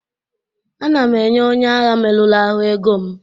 Ana m enye onye agha merụrụ ahụ ego m